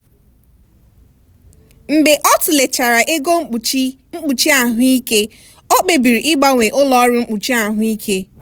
ịmalite ịhazi usoro itinye ego n'ọtụtụ ebe n'oge na-akwalite nchekwa ego ruo ogologo oge maka ọgbọ ọzọ.